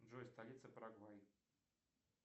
джой столица парагвай